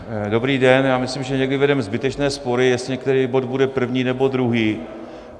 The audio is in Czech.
Dobrý den, já myslím, že někdy vedeme zbytečné spory, jestli některý bod bude první, nebo druhý.